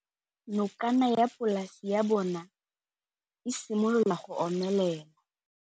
Nokana ya polase ya bona, e simolola go omelela.